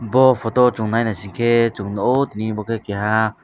bo photo chung nai naisik khe chung nukgo abo khe keha.